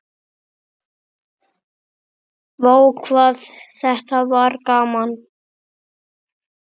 Vá hvað þetta var gaman.